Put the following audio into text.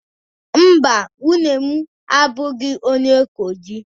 Mba, nwunye m abụghị onye Kogi